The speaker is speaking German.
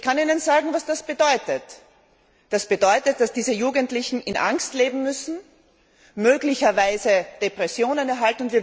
Ich kann Ihnen sagen, was das bedeutet Es bedeutet, dass diese Jugendlichen in Angst leben müssen, möglicherweise Depressionen bekommen.